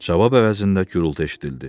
Cavab əvəzində gurultu eşidildi.